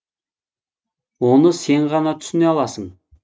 оны сен ғана түсіне аласың